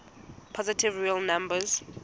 positive real numbers